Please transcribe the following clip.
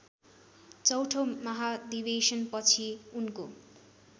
चौथो महाधिवेशनपछि उनको